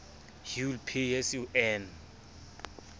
hule pay as you earn